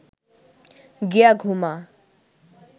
গিয়া ঘুমা